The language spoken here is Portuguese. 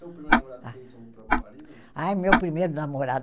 primeiro namorado próprio marido, não? Ai meu primeiro namorado